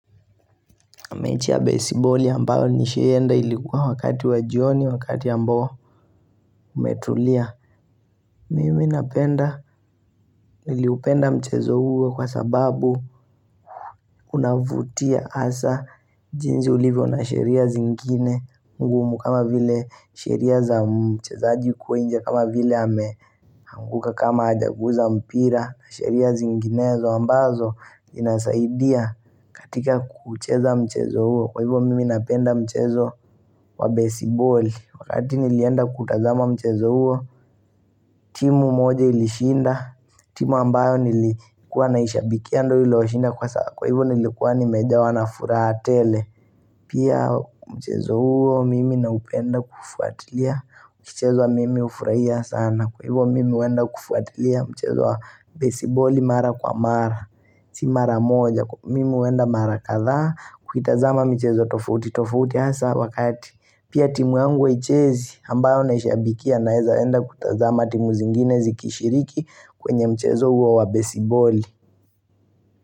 Mechi ya besiboli ambayo nishaienda ilikuwa wakati wa jioni, wakati ambao umetulia. Mimi napenda, niliupenda mchezo huo kwa sababu unavutia hasa jinsu ulivo na sheria zingine. Ngumu kama vile sheria za mchezaji huko nje kama vile ameanguka kama hajaguza mpira na sheria zinginezo ambazo inasaidia katika kucheza mchezo huo. Kwa hivyo mimi napenda mchezo wa besiboli Wakati nilienda kutazama mchezo huo timu moja ilishinda timu ambayo nilikuwa naishabikia ndio ilio shinda Kwa hivyo nilikuwa nimejawa na furaha tele Pia mchezo huo mimi napenda kufuatilia ikichezwa mimi hufurahia sana Kwa hivyo mimi huenda kufuatilia mchezo wa besiboli mara kwa mara si mara moja mimi huenda mara kadhaa kuitazama mchezo tofauti tofauti hasa wakati Pia timu yangu haichezi ambayo naishabikia naeza enda kutazama timu zingine zikishiriki kwenye mchezo huo wa besiboli.